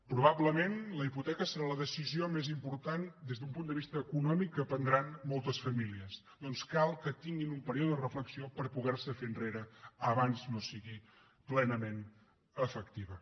probablement la hipoteca serà la decisió més important des d’un punt de vista econòmic que prendran moltes famílies doncs cal que tinguin un període de reflexió per poder se fer enrere abans no sigui plenament efectiva